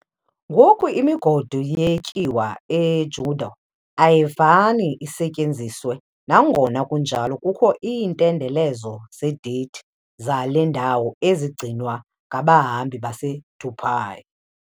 Ngoku, imigodi yetyuwa e-Djado ayifani isetyenziswe, nangona kunjalo kukho iintendelezo zedate zale ndawo ezigcinwa ngabahambi baseToubou.